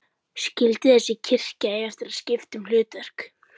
Skyldi þessi kirkja eiga eftir að skipta um hlutverk?